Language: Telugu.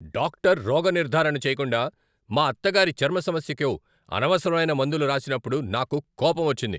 డాక్టర్ రోగనిర్ధారణ చేయకుండా మా అత్తగారి చర్మ సమస్యకు అనవసరమైన మందులు రాసినప్పుడు నాకు కోపం వచ్చింది.